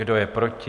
Kdo je proti?